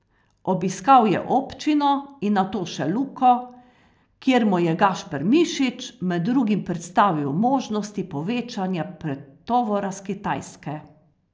Obiskal je občino in nato še Luko, kjer mu je Gašpar Mišič med drugim predstavil možnosti povečanja pretovora s Kitajske.